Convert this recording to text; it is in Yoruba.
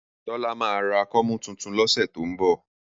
Tọ́lá máa ra kọ́mú tuntun lọ́sẹ̀ tó ń bọ̀